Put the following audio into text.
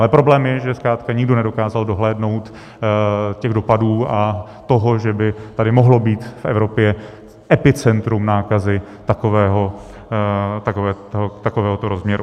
Ale problém je, že zkrátka nikdo nedokázal dohlédnout těch dopadů a toho, že by tady mohlo být v Evropě epicentrum nákazy takovéhoto rozměru.